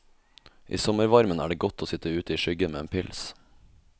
I sommervarmen er det godt å sitt ute i skyggen med en pils.